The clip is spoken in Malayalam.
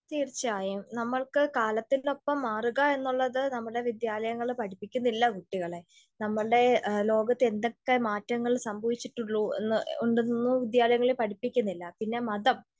തീർച്ചയായും. നമ്മൾക്ക് കാലത്തിനൊപ്പം മാറുക എന്നുള്ളത് നമ്മളെ വിദ്യാലയങ്ങൾ പഠിപ്പിക്കുന്നില്ല. കുട്ടികളെ നമ്മളുടെ ലോകത്ത് എന്തൊക്കെ മാറ്റങ്ങൾ സംഭവിച്ചിട്ടുള്ളൂ എന്ന്, ഉണ്ടെന്ന് വിദ്യാലയങ്ങൾ പഠിപ്പിക്കുന്നില്ല. പിന്നെ മതം,